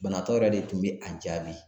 Banabaatɔ yɛrɛ de tun bɛ a jaabi.